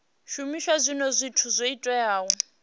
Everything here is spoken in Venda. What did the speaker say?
shumisa zwinwe zwithu zwo teaho